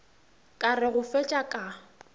ka re go fetša ka